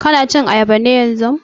Ka na cin ayaba ne yanzun?